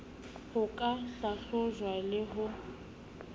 ho ka hlahlojwang le ho